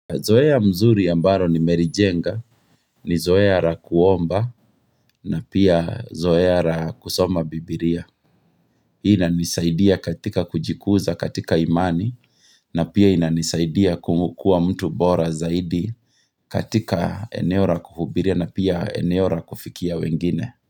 Zoea mzuri ambalo nimelijenga, ni zoea la kuomba, na pia zoea la kusoma bibilia. Hii inanisaidia katika kujikuza katika imani, na pia inanisaidia kukua mtu bora zaidi katika eneo la kuhubiria na pia eneo la kufikia wengine.